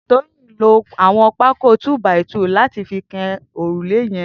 Toyin n ló awọn pàkó tù bàí tù làtí fi kàn órùlé yèn